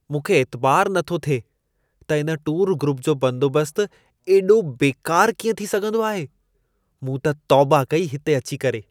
मूंखे ऐतिबारु न थो थिए, त इन टूरु ग्रुप जो बंदोबस्त ऐॾो बेकारु कीअं थी सघंदो आहे। मूं त तौबा कई हिते अची करे।